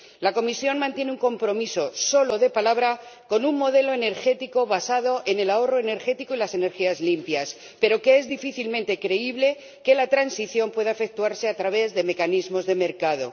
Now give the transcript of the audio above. La Comisión mantiene un compromiso, solo de palabra, con un modelo energético basado en el ahorro energético y las energías limpias, pero es difícilmente creíble que la transición pueda efectuarse a través de mecanismos de mercado.